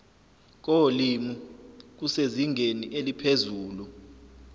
kolimi kusezingeni eliphezulu